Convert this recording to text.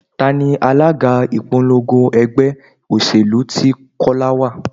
Tani alága ìpolongo ẹgbẹ́ òṣèlú tí Kọ́lá wá?